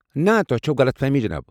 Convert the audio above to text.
نہٕ، تۄہہ چھوٕ غلط فہمی جِناب۔